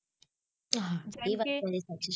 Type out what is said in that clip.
કેમ કે